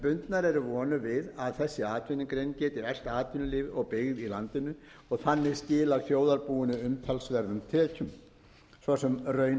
bundnar eru vonir við að þessi atvinnugrein geti eflt atvinnulíf og byggð í landinu og þannig skilað þjóðarbúinu umtalsverðum tekjum svo sem raun